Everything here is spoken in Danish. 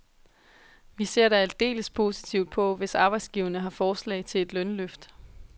Vi ser da aldeles positivt på, hvis arbejdsgiverne har forslag til et lønløft.